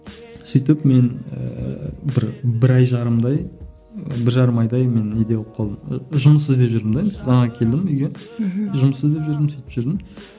сөйтіп мен ііі бір бір ай жарымдай бір жарым айдай мен неде болып қалдым жұмыс іздеп жүрдім де мана келдім үйге мхм жұмыс іздеп жүрдім сөйтіп жүрдім